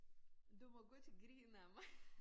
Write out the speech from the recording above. Du må godt grine ad mig